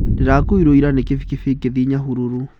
Ndĩrakuirwo ira nĩ kibikibi ngĩthiĩ Nyahururu.